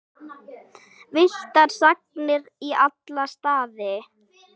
Villtar sagnir í alla staði.